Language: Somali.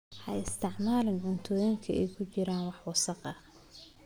Ha isticmaalin cuntooyinka ay ku jiraan wax wasakh ah.